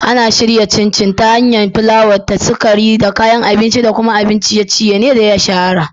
Ana shirya Chin Chin ta hanyar haɗa fulawa, sukari, da sauran kayan abinci, kuma abun ciye-ciye ne da ya shahara.